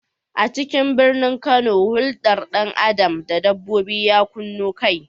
A cikin birnin Kano, huldar dan Adam da na dabbobi ya kunno kai.